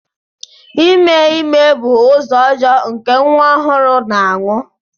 Ime ime bụ ụzọ ọjọọ nke nwa ọhụrụ na-anwụ.